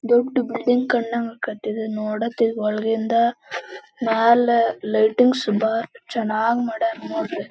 ಇದು ಒಂದು function hall ಹೊಸಾದ್ ಫಂಕ್ಷನ್ ಹಾಲ್ .